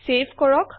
save কৰক